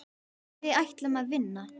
Við ætlum að vinna.